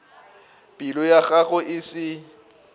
pelo ya gagwe e se